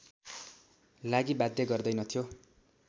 लागि बाध्य गर्दैनथ्यो